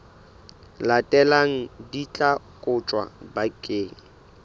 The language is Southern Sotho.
latelang di tla kotjwa bakeng